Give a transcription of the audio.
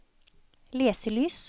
leselys